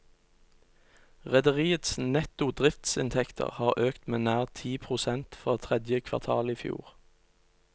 Rederiets netto driftsinntekter har økt med nær ti prosent fra tredje kvartal i fjor.